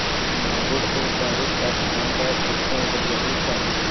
Madrid ਤੋਂ Paris ਤੱਕ ਆਉਣ ਦਾ ਸਭ ਤੋਂ ਵਧੀਆ ਤਰੀਕਾ